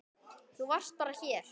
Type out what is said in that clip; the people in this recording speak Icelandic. Þú varst bara hér.